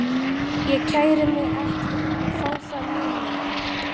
Ég kæri mig ekki um að fá þá núna.